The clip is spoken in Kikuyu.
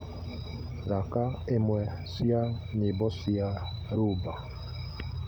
thaaka imwe cia nyĩmbo cia rumba